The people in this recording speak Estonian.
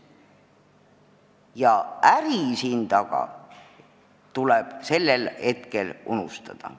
Ja äri siin taga tuleb sellel hetkel unustada.